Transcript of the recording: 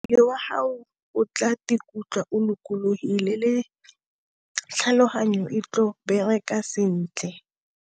Mmele wa haho o tla kutlwa o lokologile le tlhaloganyo e tlo bereka sentle.